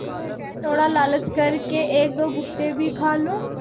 क्या मैं थोड़ा लालच कर के एकदो भुट्टे भी खा लूँ